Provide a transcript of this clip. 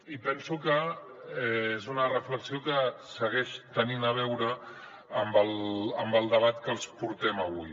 i penso que és una reflexió que segueix tenint a veure amb el debat que els portem avui